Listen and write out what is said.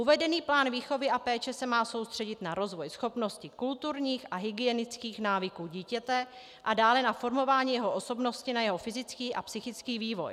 Uvedený plán výchovy a péče se má soustředit na rozvoj schopností kulturních a hygienických návyků dítěte a dále na formování jeho osobnosti, na jeho fyzický a psychický vývoj.